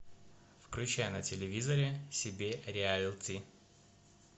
включай на телевизоре себе реалти